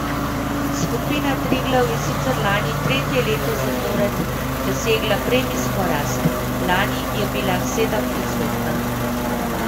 Skupina Triglav je sicer lani tretje leto zapored dosegla premijsko rast, lani je bila sedemodstotna.